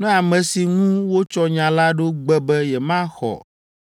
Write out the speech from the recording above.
Ne ame si ŋu wotsɔ nya la ɖo gbe be yemaxɔ